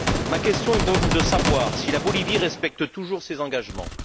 Ma question est donc de savoir si la Bolivie respecte toujours ses engagements.